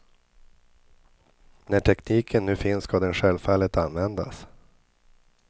När tekniken nu finns ska den självfallet användas.